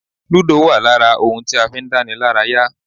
Ludo wa lára ohun tí a fi ń dánilaraya.